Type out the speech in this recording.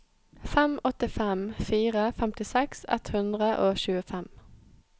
fem åtte fem fire femtiseks ett hundre og tjuefem